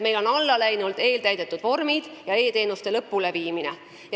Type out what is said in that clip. Meid on allapoole viinud probleemid eeltäidetud vormide ja e-teenuste lõpuleviimisega.